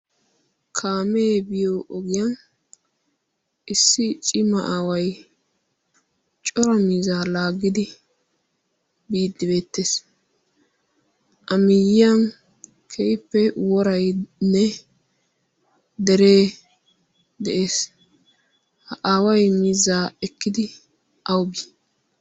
kaamee biyo ogiyan issi cima aawai cora mizaa laaggidi biiddi beettees. amiiyan keippe worainne deree de.ees ha aawai mizzaa ekkidi aybee?